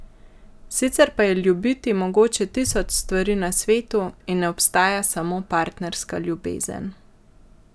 Sicer pa je ljubiti mogoče tisoč stvari na svetu in ne obstaja samo partnerska ljubezen.